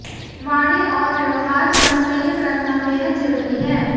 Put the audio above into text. वाणी और व्यवहार पर संयम रखना बेहद जरूरी है